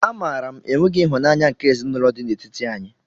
A maara m enweghị ịhụnanya nke ezinaụlọ dị n'etiti anyị.